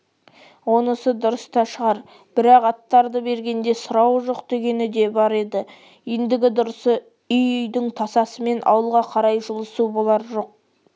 онысы дұрыс та шығар бірақ аттарды бергенде сұрауы жоқ дегені де бар еді ендігі дұрысы үй-үйдің тасасымен ауылға қарай жылысу болар жоқ